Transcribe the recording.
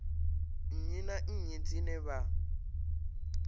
nnyi na nnyi dzine vha